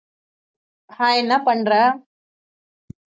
hai என்ன பண்ற